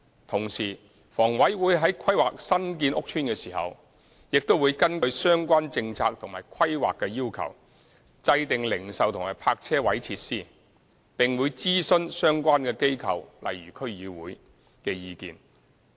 同時，房委會在規劃新建屋邨時，會根據相關政策及規劃要求，制訂零售及泊車位設施，並會諮詢相關機構的意見。